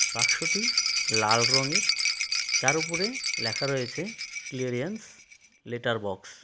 বাক্সটি লাল রঙের যার ওপরে লেখা রয়েছে ক্লিয়ারিয়েন্স লেটার বক্স .